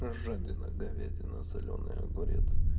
ээ жадина говядина солёный огурец